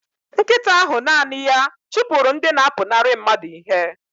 Nkịta ahụ naanị ya chụpụrụ ndị na-apụnara mmadụ ihe